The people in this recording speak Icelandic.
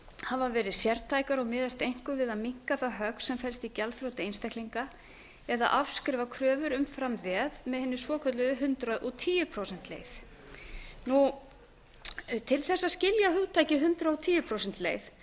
hafa verið sértækar og miðast einkum við að minnka það högg sem felst í gjaldþroti einstaklinga eða að afskrifa kröfur umfram veð með hinni svokölluðu hundrað og tíu prósenta leið til þess að skilja hugtakið hundrað og tíu prósenta leið